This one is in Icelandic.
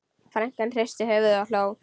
Frænkan hristi höfuðið og hló.